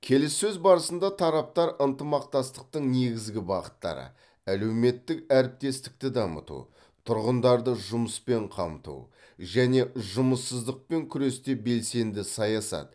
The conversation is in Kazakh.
келіссөз барысында тараптар ынтымақтастықтың негізгі бағыттары әлеуметтік әріптестікті дамыту тұрғындарды жұмыспен қамту және жұмыссыздықпен күресте белсенді саясат